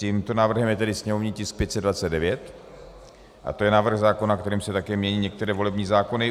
Tímto návrhem je tedy sněmovní tisk 529 a je to návrh zákona, kterým se také mění některé volební zákony.